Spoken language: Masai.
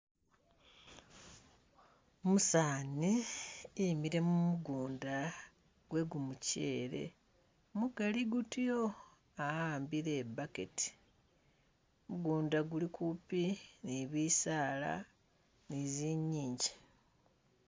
Umusaani emile mumugunda gwegumuchele mugali gutyo awambile i'backet , mugunda guli kupi ni bisaala ni zinyingi